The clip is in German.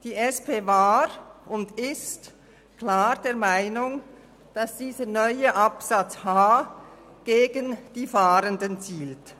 Die SP-JUSO-PSA war und ist klar der Meinung, dass dieser neue Buchstabe h gegen die Fahrenden zielt.